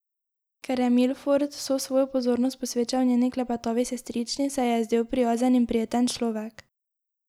Ker je Milford vso svojo pozornost posvečal njeni klepetavi sestrični, se ji je zdel prijazen in prijeten človek.